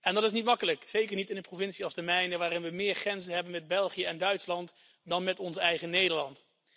Dat is niet makkelijk, zeker niet in een provincie als de mijne waar we meer grenzen hebben met België en Duitsland dan met ons eigen Nederland.